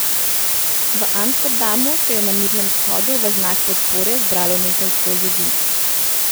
V Amsterdamu se je na mirnem shodu v znak podpore zbralo nekaj sto ljudi.